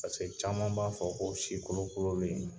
caman b'a fɔ ko si kolokololen